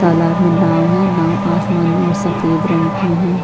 तालाब मे नाव है नाव आसमानी और सफ़ेद रंग की है।